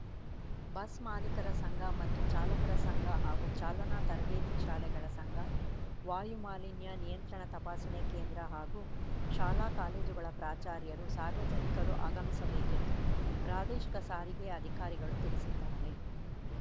bus ಮಾಲೀಕರ ಸಂಘ ಮತ್ತು ಚಾಲಕರ ಸಂಘ ಹಾಗೂ ಚಾಲನಾ ತರಬೇತಿ ಶಾಲೆಗಳ ಸಂಘ ವಾಯು ಮಾಲಿನ್ಯ ನಿಯಂತ್ರಣ ತಪಾಸಣೆ ಕೇಂದ್ರ ಹಾಗೂ ಶಾಲಾಕಾಲೇಜುಗಳ ಪ್ರಾಚಾರ್ಯರು ಸಾರ್ವಜನಿಕರು ಆಗಮಿಸಬೇಕೆಂದು ಪ್ರಾದೇಶಿಕ ಸಾರಿಗೆ ಅಧಿಕಾರಿಗಳು ತಿಳಿಸಿದ್ದಾರೆ